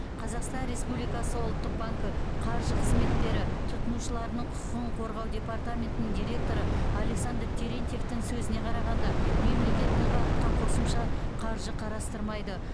қазақстан республикасы ұлттық банкі қаржы қызметтері тұтынушыларының құқығын қорғау департаментінің директоры александр терентьевтің сөзіне қарағанда мемлекет бұл бағытқа қосымша қаржы қарастырмайды